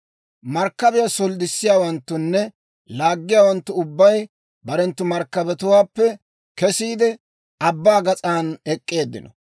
«‹ «Markkabiyaa solddissiyaawanttunne laaggiyaawanttu ubbay barenttu markkabetuwaappe kesiide, abbaa gas'an ek'k'eeddino.